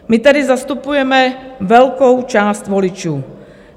My tady zastupujeme velkou část voličů.